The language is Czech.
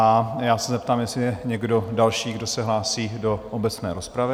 A já se zeptám, jestli je někdo další, kdo se hlásí do obecné rozpravy?